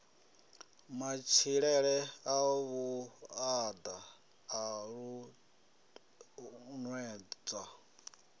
matshilele a vhuaḓa a ṱuṱuwedzwa